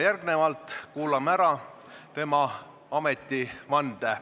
Järgnevalt kuulame ära tema ametivande.